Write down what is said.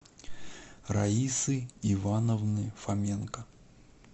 раисы ивановны фоменко